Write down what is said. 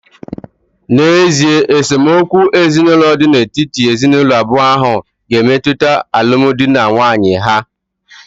N’ezie, esemokwu ezinụlọ dị n’etiti ezinụlọ abụọ ahụ ga-emetụta alụmdi na nwunye ha